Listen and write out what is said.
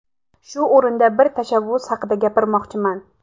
Shu o‘rinda bir tashabbus haqida gapirmoqchiman.